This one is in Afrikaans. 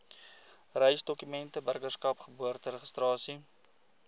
reisdokumente burgerskap geboorteregistrasie